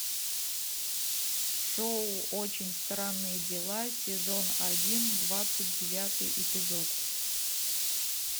шоу очень странные дела сезон один двадцать девятый эпизод